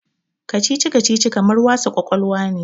Kacici-kacici kamar wasa ƙwaƙwalwa ne.